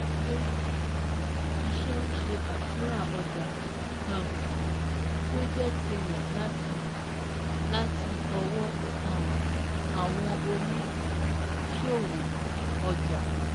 Ilé-iṣẹ́ ń ṣe àtúnrà ọjà um tí ó jẹ́ tirẹ láti láti ọwọ́ um àwọn òní-ṣòwò - ọjà